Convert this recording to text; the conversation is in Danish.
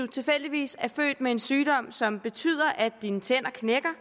tilfældigvis er født med en sygdom som betyder at ens tænder knækker